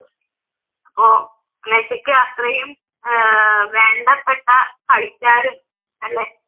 അപ്പോൾ മെസ്സിക്ക് അത്രയു ആഹ് വേണ്ടപ്പെട്ട കളിക്കാരും അല്ലേ